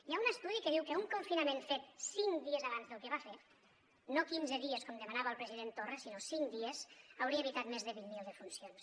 hi ha un estudi que diu que un confinament fet cinc dies abans del que es va fer no quinze dies com demanava el president torra sinó cinc dies hauria evitat més de vint mil defuncions